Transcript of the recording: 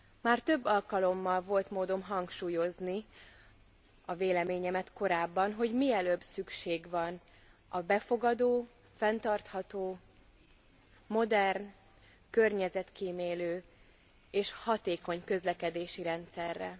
Már több alkalommal volt módom hangsúlyozni a véleményemet korábban, hogy mielőbb szükség van a befogadó, fenntartható, modern, környezetkímélő és hatékony közlekedési rendszerre.